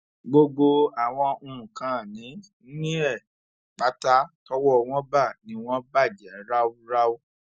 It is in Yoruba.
gbogbo àwọn nǹkanìní ẹ pátá tọwọ wọn bá ni wọn bàjẹ ráúráú